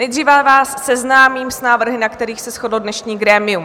Nejdříve vás seznámím s návrhy, na kterých se shodlo dnešní grémium.